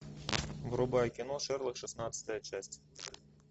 врубай кино шерлок шестнадцатая часть